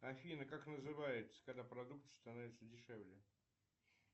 афина как называется когда продукты становятся дешевле